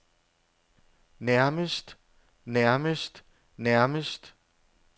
nærmest nærmest nærmest